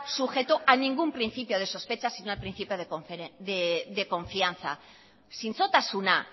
sujeto a ningún principio de sospecha sino al principio de confianza zintzotasuna